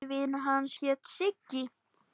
Besti vinur hans hét Siggi.